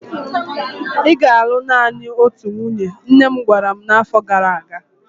Ị ga-alụ naanị otu nwunye! nne m gwara m na afo gara aga.